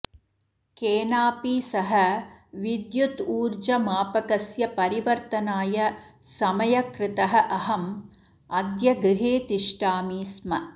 केनापि सह विद्युतूर्जमापकस्य परिवर्तनाय समयकृतः अहम् अद्य गृहे तिष्ठामि स्म